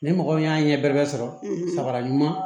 Ni mɔgɔ min y'a ɲɛ bɛrɛ bɛ sɔrɔ